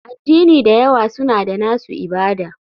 Addini da yawa suna da nasu ibada.